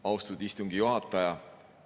Austatud istungi juhataja!